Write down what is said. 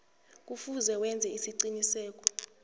kufuze wenze isiqiniseko